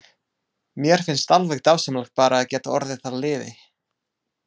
Mér finnst alveg dásamlegt bara að geta orðið að liði.